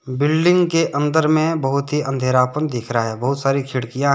Building के अंदर में बहुत ही अंधेरा पन दिख रहा है बहुत सारी खिड़कियां है।